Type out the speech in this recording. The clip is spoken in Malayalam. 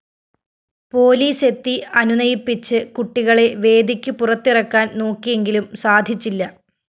പോലീസെത്തി അനുനയിപ്പിച്ച് കുട്ടികളെ വേദിക്ക് പുറത്തിറക്കാന്‍ നോക്കിയെങ്കിലും സാധിച്ചില്ല